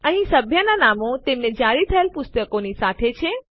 અહીં સભ્યનાં નામો તેમને જારી થયેલ પુસ્તકોની સાથે છે